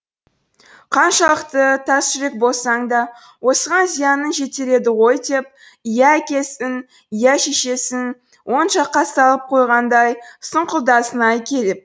қаншалықты тасжүрек болсаң да осыған зияның жетер еді ғой деп иә әкесін иә шешесін оң жаққа салып қойғандай сұңқылдасын ай келіп